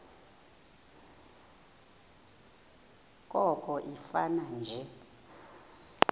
koko ifane nje